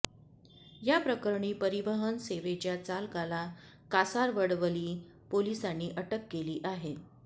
या प्रकरणी परिवहन सेवेच्या चालकाला कासारवडवली पोलिसांनी अटक केली आहे